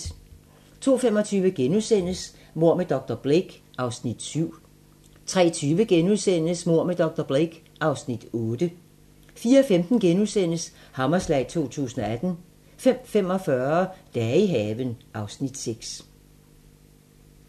02:25: Mord med dr. Blake (Afs. 7)* 03:20: Mord med dr. Blake (Afs. 8)* 04:15: Hammerslag 2018 * 05:45: Dage i haven (Afs. 6)